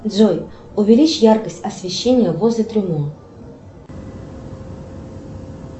джой увеличь яркость освещения возле трюмо